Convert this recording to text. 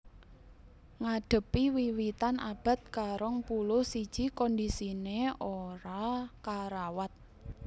Ngadhepi wiwitan abad karongpuluh siji kondisiné ora karawat